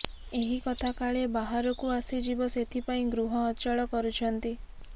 ଏହି କଥା କାଳେ ବାହାରକୁ ଆସିଯିବ ସେଥିପାଇଁ ଗୃହ ଅଚଳ କରୁଛନ୍ତି